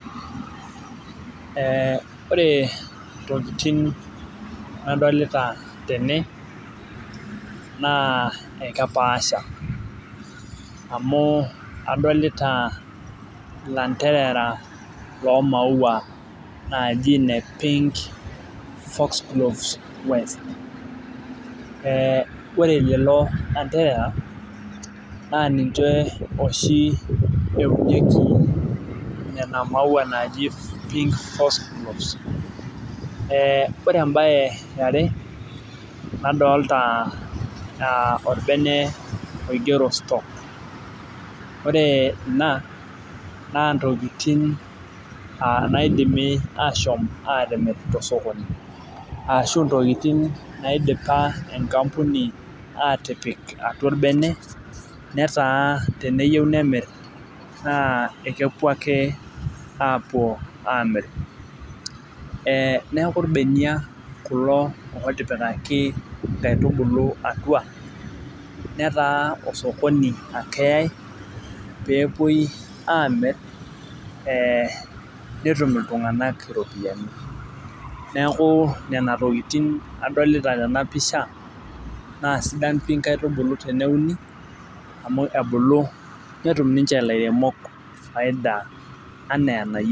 Ee ore ntokitin nadolta tene na kepaasha amu adolta landerea loji fork gloss west ee ore lelo anderera na ninche oshi eunieki nona maua naji [vs]pink forks gloves ee ore embae eare nadolta orbene oigero stoke ,ore ina na ntokitin naidimi ashom atimir tosokoni ashu ntokitin naidipa enkampuni atip atua orbene neaku teneyieu nemir na kepuo ake apuo amir neaku irbenia kulo otipikaki nkaitubulu atua netaa osokoni ake eyae pepuoi amir netum ltunganak iropiyiani neaku nona tokitin adolta tenapisha na sidan nkaitubulu tene netum faida ana enayieu.